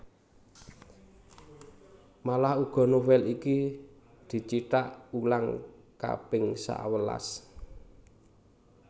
Malah uga novel iki dicithak ulang kaping sawelas